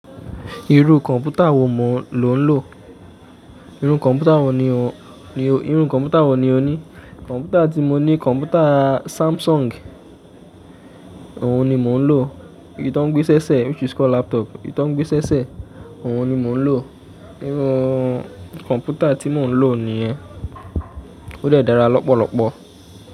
Irú kọ̀mpútà ló ń lò? Irú kọ̀mpútà wo ni o ní? Kọ̀mpútà tí mo ní, kọ̀mpútà Samsung ohun ni mò ń lò. Èyí tó ń gbé ṣẹ́ṣẹ́ which is called laptop, èyí tó ń gbé ṣẹ́ṣẹ́ ohun ni mò ń lò. Irú kọ̀mpútà tí mò ń lò nìyẹn. Ó dẹ̀ dára lọ́pọ̀lọ́pọ̀.